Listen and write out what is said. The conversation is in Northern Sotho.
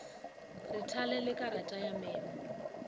re thalele karata ya memo